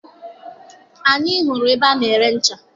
Anyị hụrụ ebe ana-ere ncha.